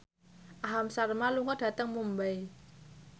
Aham Sharma lunga dhateng Mumbai